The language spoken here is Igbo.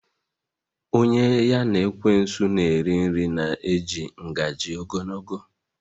Onye ya na ekwensu na eriri nri na eji ngaji ogologo